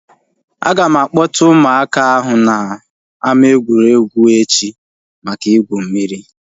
Aga m a kpọta ụmụaka ahụ na ama egwuregwu echi maka igwu mmiri